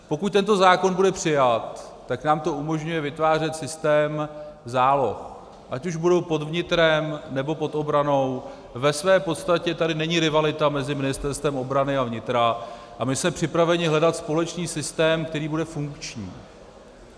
Pokud tento zákon bude přijat, tak nám to umožňuje vytvářet systém záloh, ať už budou pod vnitrem, nebo pod obranou, ve své podstatě tady není rivalita mezi ministerstvy obrany a vnitra, a my jsme připraveni hledat společný systém, který bude funkční.